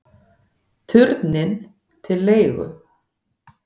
Turninn til leigu